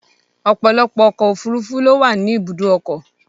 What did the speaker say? Ọ̀pọ̀lọpọ̀ ọkọ̀-òfurufú ló wà ní ibùdókọ̀.